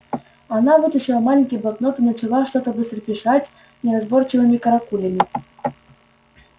она вытащила маленький блокнот и начала что-то быстро писать неразборчивыми каракулями